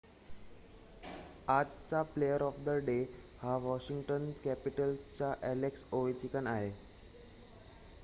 आजचा 'player of the day' हा Washington कॅपिटल्सचा अ‍ॅलेक्स ओवेचकिन आहे